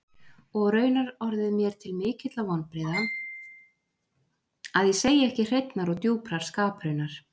Og raunar orðið mér til mikilla vonbrigða, að ég segi ekki hreinnar og djúprar skapraunar.